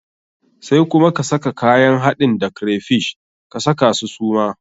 Sai kuma ka saka kayan haɗin da crayfish, ka saka su suma.